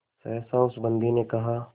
सहसा उस बंदी ने कहा